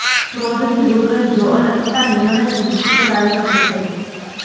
ક્રોધથી દૂર રહેજો અને ખોટા નિર્ણયથી મુસીબત આવી શકે છે